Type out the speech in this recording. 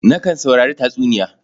Nakan saurari tatsuniya.